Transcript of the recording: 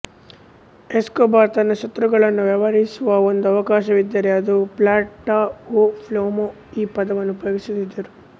Escobar ತನ್ನ ಶತ್ರುಗಳನ್ನು ವ್ಯವಹರಿಸುವಾಗ ಒಂದು ಅವಕಾಶವಿದ್ದರೆ ಅವರು ಪ್ಲಾಟ ಒ ಪ್ಲೊಮೋ ಈ ಪದವನ್ನು ಉಪಯೋಗಿಸುತ್ತಿದ್ದರು